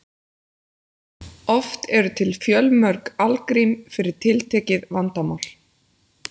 Oft eru til fjölmörg algrím fyrir tiltekið vandamál.